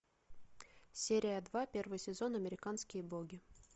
серия два первый сезон американские боги